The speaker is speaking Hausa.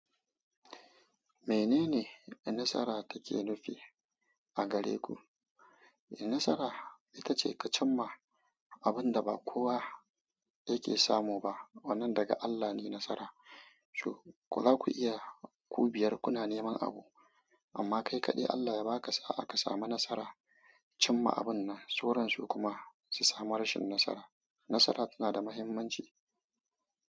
Menene nasara take nufi a gare ku? Nasara ita ce ka cimma abin da ba kowa yake samu ba. Wannan daga Allah ne nasara. Shin ko za ku iya ku biyar kuna neman abu, amma kai kaɗai Allah ya ba ka sa'a ka samu nasara. Cimma abun nan, sauran su kuma su samu rashin nasara. Nasara tana da mahimmanci.